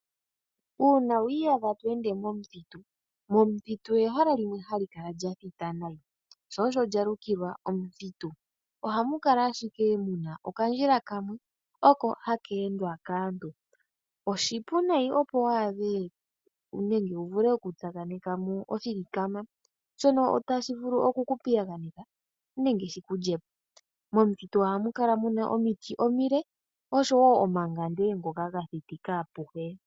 Uuna wiiyadha to ende momuthitu, minuthitu ehala limwe hali kala lya thita nayi, sho osho lya lukilwa omuthitu. Ohamu kala ashike mu na okandjila kamwe oko haka endwa kaantu. Oshipu nayi opo wu adhe nenge wu vule okutaakaneka mo oshilikama, shono tashi vulu oku ku piyaganeka, nenge shi ku lye po. Momuthitu ohamu kala mu na omiti omile, nosho wo omangande ngoka ga thitika apuhe.